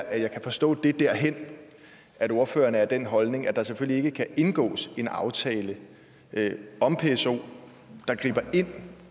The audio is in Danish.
at jeg kan forstå det derhen at ordføreren er af den holdning at der selvfølgelig ikke kan indgås en aftale om pso der griber ind